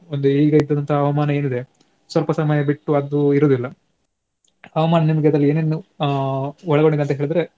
ಒಂದು ಈಗ ಇದ್ದಿದಂತಹ ಹವಾಮಾನ ಏನಿದೆ ಸ್ವಲ್ಪ ಸಮಯ ಬಿಟ್ಟು ಅದು ಇರುವುದಿಲ್ಲ. ಹವಾಮಾನ ನಿಮ್ಗೆ ಅದ್ರಲ್ಲಿ ಏನೇನು ಆ ಒಳಗೊಂಡಿದೆ ಅಂತ ಹೇಳಿದ್ರೆ